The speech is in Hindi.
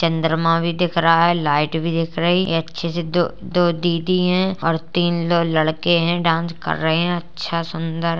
चंद्रमा भी दिख रहा है लाइट भी दिख रही है एक अच्छी सी दो दीदी हैं और तीन दो लड़के हैं जो डांस कर रहे हैं अच्छा सुंदर --